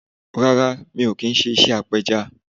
Rárá mi ò kí n se apẹja